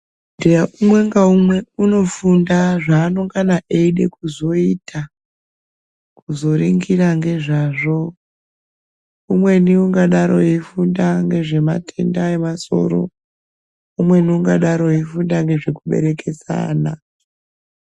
Umwe ngaumwe unofunda zvanongana eida kuzoita kuzoringira ngezvazvo. Umweni ungadaro eifunda ngezvematenda emasoro, umweni ungadaro eifunda ngezvekuberekesa ana.